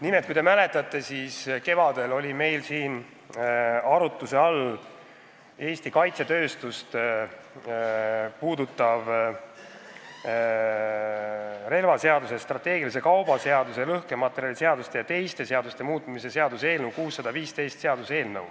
Nimelt, kui te mäletate, siis kevadel oli meil siin arutluse all Eesti kaitsetööstust puudutav relvaseaduse, strateegilise kauba seaduse, lõhkematerjaliseaduse ja teiste seaduste muutmise seaduse eelnõu 615.